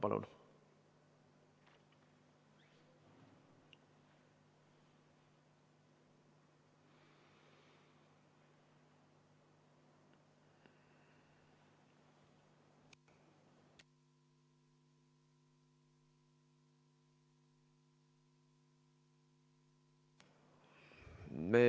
Palun!